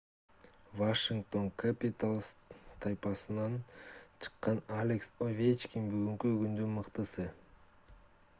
вашингтоон кэпиталз тайпасынан чыккан алекс овечкин бүгүнкү күндүн мыктысы